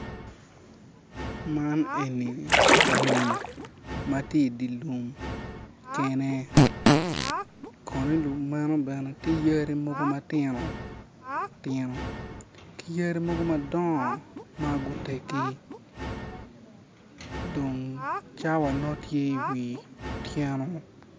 Man eni rii ma ti i di lum kene kono i lum meno bene tye yadi mogo matinotino ki yadi mogo madongo ma guteggi dong cawa nongo tye iwi otyeno